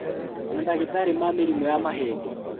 Mandagĩtarĩ ma mĩrimũ ya mahĩndĩ